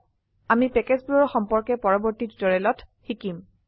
আমি প্যাকেজবোৰৰ সম্পৰ্কে পৰবৰ্তী টিউটোৰিয়েলত শিকিম